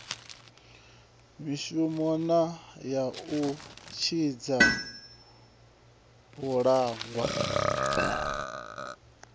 mishonga ya u tshidza vhalaxwa